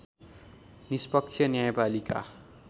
निष्पक्ष न्यायपालिका